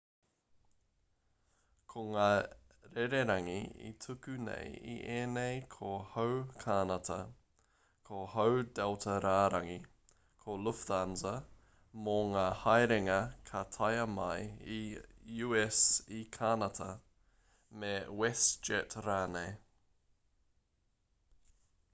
ko ngā rererangi e tuku nei i ēnei ko hau kānata ko hau delta rārangi ko lufthansa mō ngā haerenga ka taea mai i u.s i kānata me westjet rānei